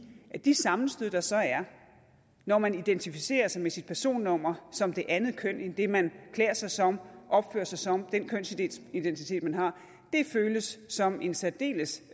at de sammenstød der så er når man identificerer sig med sit personnummer som det andet køn end det man klæder sig som opfører sig som den kønsidentitet man har føles som en særdeles